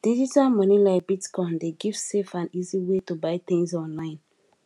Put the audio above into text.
digital money like bitcoin dey give safe and easy way to buy things online